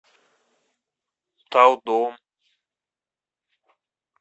талдом